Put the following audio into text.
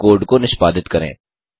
अब कोड को निष्पादित करें